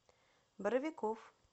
боровиков